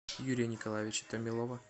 юрия николаевича томилова